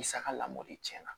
Misa ka lamɔli tiɲɛna